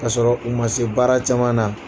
K'a sɔrɔ u ma se baara caman na